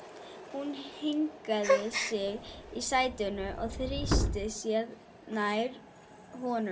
Hún hringaði sig í sætinu og þrýsti sér nær honum.